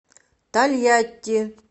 тольятти